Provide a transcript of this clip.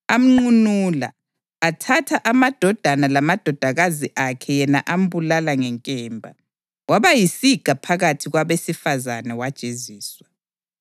Amnqunula, athatha amadodana lamadodakazi akhe yena ambulala ngenkemba. Waba yisiga phakathi kwabesifazane, wajeziswa.